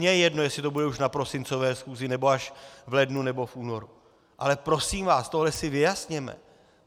Mně je jedno, jestli to bude už na prosincové schůzi, nebo až v lednu nebo v únoru, ale prosím vás, tohle si vyjasněme.